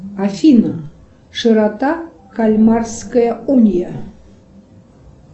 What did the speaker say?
афина широта кальмарская уния